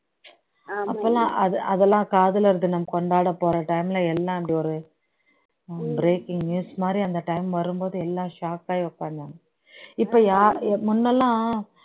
அப்போலாம் அது அதெல்லாம் காதலர்கள் தினம் கொண்டாட போற time ல எல்லாம் இப்படி ஒரு breaking news மாதிரி அந்த time வரும்போது எல்லாம் shock ஆகி உட்காந்தாங்க இப்போ யா முன்னலாம்